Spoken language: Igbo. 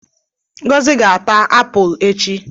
Ngozi ga-ata apụl echi.